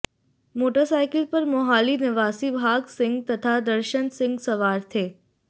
motorcycle पर मोहाली निवासी भाग सिंह तथा दर्शन सिंह सवार थे